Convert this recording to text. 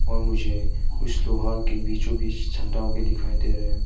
और मुझे कुछ लोहा के बीचों बीच छंडाव भी दिखाई दे रहा है।